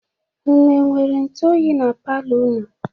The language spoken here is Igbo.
Unu nwere ntụ oyi na palọ unu?